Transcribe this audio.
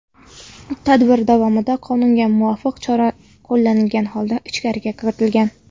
Tadbir davomida qonunga muvofiq chora qo‘llanilgan holda ichkariga kirilgan.